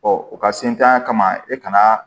u ka sintanya kama e kana